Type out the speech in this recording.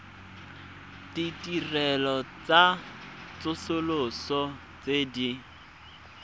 ditirelo tsa tsosoloso tse di